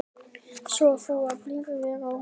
Sof þú í blíðri ró.